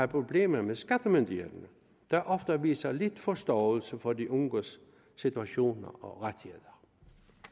problemer med skattemyndighederne der ofte viser lidt forståelse for de unges situation og rettigheder